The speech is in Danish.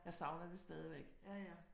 Jeg savner det stadigvæk